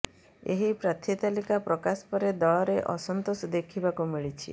ଏହି ପ୍ରାର୍ଥୀ ତାଲିକା ପ୍ରକାଶ ପରେ ଦଳରେ ଅସନ୍ତୋଷ ଦେଖିବାକୁ ମିଳିଛି